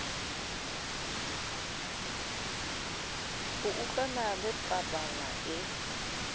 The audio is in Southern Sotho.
ho utlwana le pabala e